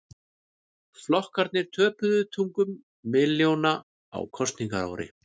Flokkarnir töpuðu tugum milljóna á kosningaári